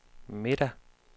middag